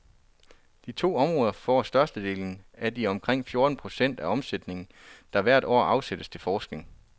De to områder får størstedelen af de omkring fjorten procent af omsætningen, der hvert år afsættes til forskning.